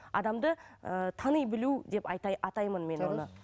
адамды ыыы тани білу деп атаймын мен оны